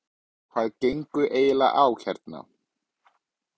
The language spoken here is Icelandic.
Hvað gengur eiginlega á hérna?